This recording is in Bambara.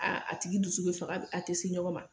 Aaa a tigi dusu bɛ faga, a tɛ se ɲɔgɔn ma.